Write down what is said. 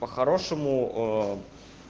по-хорошему